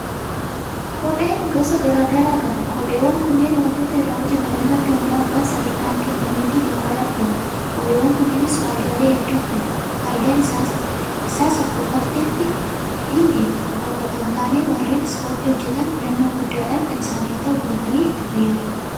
Kopheen gosa garaa garaa qaba. Kopheewwan kunneen waantota irraa hojjetaman irratti hundaa'uudhaan sadarkaan kennameefii gabaadhaaf dhiyaata. Kopheewwan kunnuunis faayidaalee hedduudhaaf oolu. Faayidaan isaas akkuma barteetti ittiin deemuu qofaaf otoo hintaane warreen ispoortii hojjetan filannoo guddaadhaan kan isaaniif ta'u bitatanii itti fayyadamu.